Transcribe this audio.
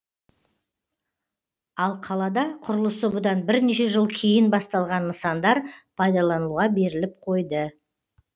ал қалада құрылысы бұдан бірнеше жыл кейін басталған нысандар пайдаланылуға беріліп қойды